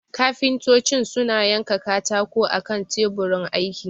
kafintocin suna yanka katako akan taburin aiki